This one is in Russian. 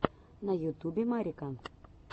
на ютубе марика